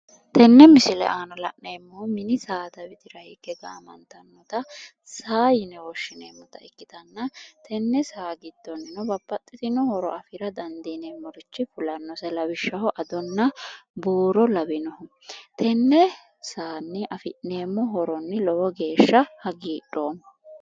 Tene misile aanna la'nneemohu mini saada widira hige gaamanntanota saa yine woshineemota ikkitana tene saa gidooni babbaxitino horro affira danidiinemorichi fulannose, lawishaho adona buuro lawinohu tene saani affineemo horoni lowo geesha hagiidhoomo